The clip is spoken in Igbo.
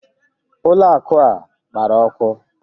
Ụlọ akụ a agbara ọkụ?